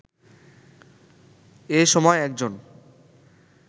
এ সময় একজন